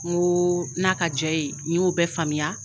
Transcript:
N ko n'a ka ja i ye ni y'o bɛɛ faamuya.